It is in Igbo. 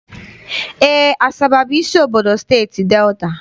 Eé, Asaba bụ isi obodo Steeti Delta.